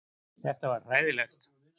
Þetta var hræðilegt.